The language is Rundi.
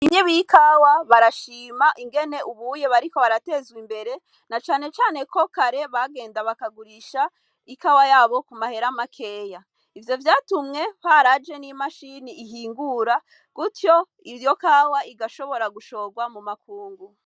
Inyi bikawa barashima ingene ubuye bariko baratezwe imbere na canecane ko kare bagenda bakagurisha ikawa yabo ku mahera makeya, ivyo vyatumwe paraje n'imashini ihingura gutyo iryo kawa igashobora gushorwa mu makungu.